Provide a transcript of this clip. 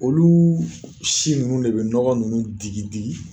Olu si ninnu de bɛ nɔgɔ ninnu digi digi!